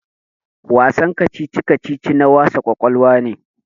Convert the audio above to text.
Wasan kacici-kacici na wasa ƙwaƙwalwa ne.